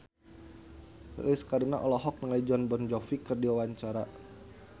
Lilis Karlina olohok ningali Jon Bon Jovi keur diwawancara